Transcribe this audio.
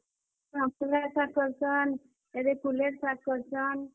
Moon ଗା ଶାଗ୍ କରସନ୍ କୁଲେର୍ ଶାଗ କରସନ୍।